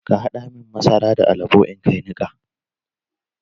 Ka haɗa mun masara da alabo in kai niƙa.